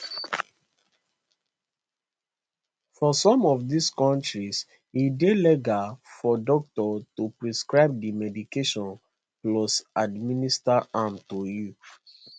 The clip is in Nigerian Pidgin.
for some of dis kontris e dey legal for doctor to prescribe di medication plus administer am to you